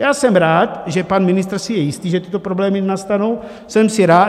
Já jsem rád, že pan ministr si je jistý, že tyto problémy nenastanou.